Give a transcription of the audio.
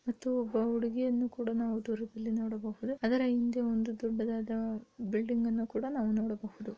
ಮತ್ತು ಒಬ್ಬ ಹುಡುಗಿ ಯನ್ನ ಕೂಡ ದೂರದಲ್ಲಿ ನೋಡಬಹುದು ಅದರ ಹಿಂದೆ ಒಂದು ದೊಡ್ಡದಾದ ಬಿಲ್ಡಿಂಗ್ ಅನ್ನು ಕೂಡ ನೋಡಬಹುದು .